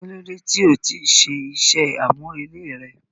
Kilode ti o ti ṣe iṣẹ amurele rẹ?